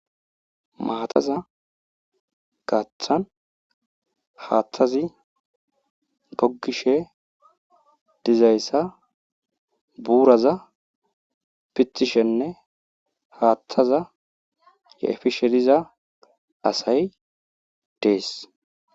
Maataza gathan haathazi goggishe dizayssa buuraza pithishenne haathaza efishe diza asay des.